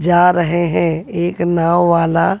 जा रहे हैं एक नाव वाला--